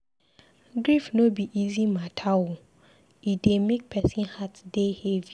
Grief no be easy mata o, e dey make person heart dey heavy.